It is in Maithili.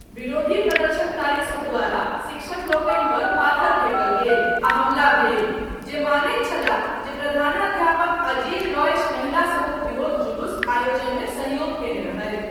विरोधी प्रदर्शनकारी सब द्वारा शिक्षकलोकनि पर पाथर फेकल गेल आ हमला भेल जे मानैत छलाह जे प्रधानाध्यापक अजीज रॉयेश महिलासभक विरोध जुलुस आयोजनमे सहयोग कयने रहथि।